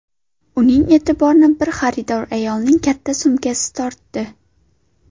Uning e’tiborini bir xaridor ayolning katta sumkasi tortdi.